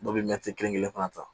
Dɔw bɛ kelen fana ta